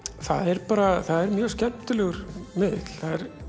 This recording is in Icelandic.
það er bara mjög skemmtilegur miðill